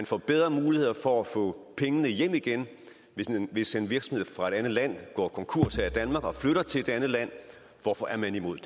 får bedre muligheder for at få pengene hjem igen hvis en virksomhed fra et andet land går konkurs her i danmark og flytter til et andet land hvorfor er man imod